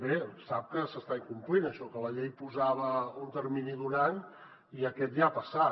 bé sap que s’està incomplint això que la llei posava un termini d’un any i aquest ja ha passat